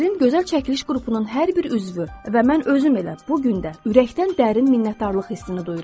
Sirrin gözəl çəkiliş qrupunun hər bir üzvü və mən özüm elə bu gün də ürəkdən dərin minnətdarlıq hissini duyuram.